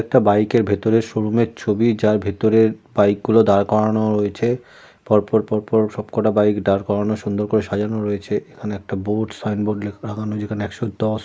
একটা বাইকের ভেতরের শোরুম - এর ছবি যার ভেতরে বাইক গুলো দাঁড় করানো রয়েছে। পর পর পর সবকটা বাইক দাঁড় করানো সুন্দর করে সাজানো রয়েছে। এখানে একটা বোর্ড সাইনবোর্ড লেখা লাগানো। যেখানে একশো দশ --